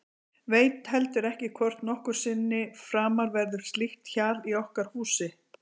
Veit heldur ekki hvort nokkru sinni framar verður slíkt hjal í okkar húsi.